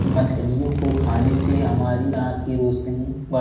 मछलियों को खाने से हमारी आंख की रौशनी बढ़ --